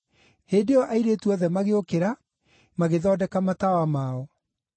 “Hĩndĩ ĩyo airĩtu othe magĩũkĩra, magĩthondeka matawa mao.